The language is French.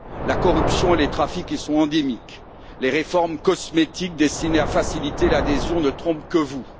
la corruption et les trafics y sont endémiques les réformes cosmétiques destinées à faciliter l'adhésion ne trompent que vous